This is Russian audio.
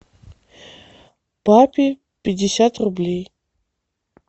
папе пятьдесят рублей